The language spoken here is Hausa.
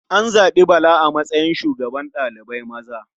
An zaɓi Bala a matsayin shugaban ɗalibai maza.